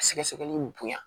Sɛgɛsɛgɛli bonya